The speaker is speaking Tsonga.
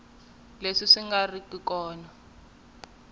leswi swi nga ri ku